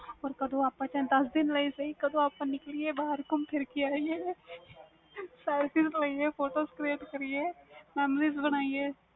ਚਲੋ ਦੱਸ ਦਿਨ ਲਈ ਸੀ ਕਦੋ ਆਪਾ ਨਿਕਲੀਏ ਬਹਾਰ ਕਦੋ ਗੁਮ ਫਿਰ ਕੇ ਆਈਏ selfie ਲਈਏ picture create ਕਰੀਏ memories ਬਣੀਆਂ